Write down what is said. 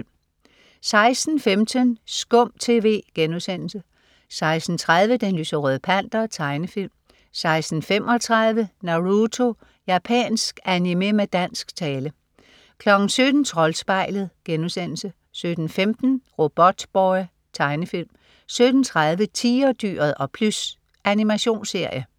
16.15 Skum TV* 16.30 Den lyserøde Panter. Tegnefilm 16.35 Naruto. Japansk animé med dansk tale 17.00 Troldspejlet* 17.15 Robotboy. Tegnefilm 17.30 Tigerdyret og Plys. Animationsserie